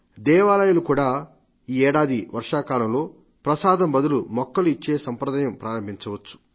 దేవాలయాలు కూడా ఈ ఏడాది వర్షాకాలంలో ప్రసాదం బదులు మొక్కలు ఇచ్చే సంప్రదాయం ప్రారంభించవచ్చు